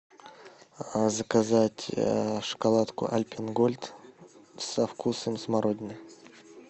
заказать шоколадку альпен гольд со вкусом смородины